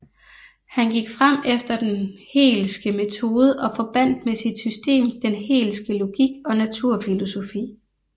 Han gik frem efter den Hegelske metode og forbandt med sit system den Hegelske logik og naturfilosofi